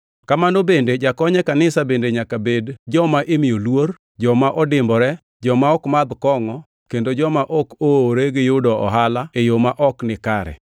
Kamano bende jokony e kanisa bende nyaka bed joma imiyo luor, joma odimbore, joma ok madh kongʼo kendo joma ok oowre gi yudo ohala e yo ma ok nikare.